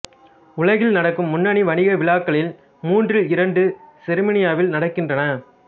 உலகில் நடக்கும் முன்னணி வணிக விழாக்களில் மூன்றில் இரண்டு செருமனியில் நடக்கின்றன